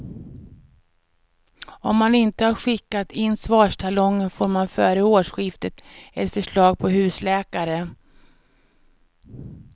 Om man inte har skickat in svarstalongen får man före årsskiftet ett förslag på husläkare.